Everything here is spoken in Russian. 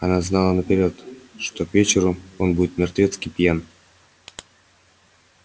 она знала наперёд что к вечеру он будет мертвецки пьян